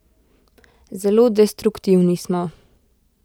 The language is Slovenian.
Zelo destruktivni smo.